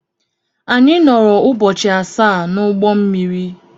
Anyị nọọrọ ụbọchị asaa n'ụgbọ mmiri.